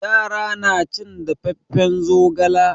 Yara na cin dafaffen zogala.